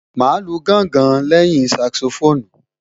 Màá lu gángan lẹ́yìn Saxophone